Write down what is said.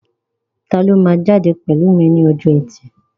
Taló máa jáde pẹ̀lú mi ní ọjọ́ ẹtì?